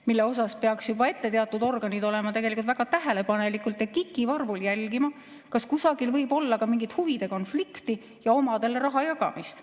Teatud organid peaks juba ette olema väga tähelepanelikud ja kikivarvul jälgima, kas kusagil võib olla mingit huvide konflikti ja omadele raha jagamist.